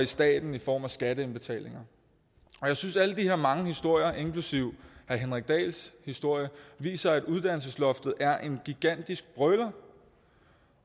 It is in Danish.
staten i form af skatteindbetalinger jeg synes at alle de her mange historier inklusive herre henrik dahls historie viser at uddannelsesloftet er en gigantisk brøler